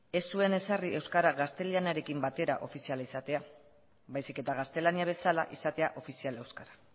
ez zuen ezarri euskara gaztelerarekin batera ofizial izatea baizik eta gaztelania bezala izatea ofizial euskara